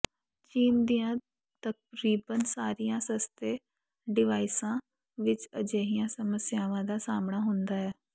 ਚੀਨ ਦੀਆਂ ਤਕਰੀਬਨ ਸਾਰੀਆਂ ਸਸਤੇ ਡਿਵਾਈਸਾਂ ਵਿੱਚ ਅਜਿਹੀਆਂ ਸਮੱਸਿਆਵਾਂ ਦਾ ਸਾਹਮਣਾ ਹੁੰਦਾ ਹੈ